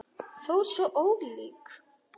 Þó svo ólík.